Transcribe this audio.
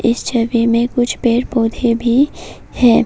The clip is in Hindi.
इस छवि में कुछ पेड़ पौधे भी है।